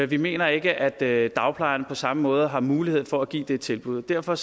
vi mener ikke at dagplejerne på samme måde har mulighed for at give det tilbud derfor